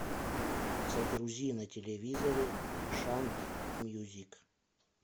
загрузи на телевизоре шант мьюзик